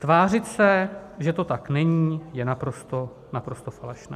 Tvářit se, že to tak není, je naprosto, naprosto falešné.